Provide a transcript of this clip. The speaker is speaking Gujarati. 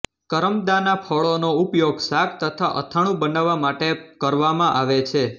કરમદાંના ફળોનો ઉપયોગ શાક તથા અથાણું બનાવવા માટે કરવામાં આવે છે